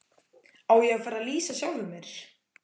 Á ég að fara að lýsa sjálfum mér?